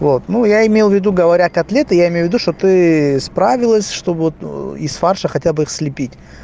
вот ну я имел в виду говоря котлеты я имею ввиду что ты справилась что вот из фарша хотя бы их слепить